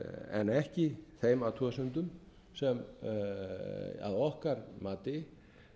en ekki þeim athugasemdum sem að okkar mati